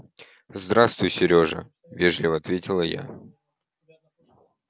здравствуй серёжа вежливо ответила я